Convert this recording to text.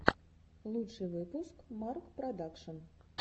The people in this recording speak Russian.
лучший выпуск марк продакшн